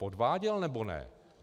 Podváděl, nebo ne?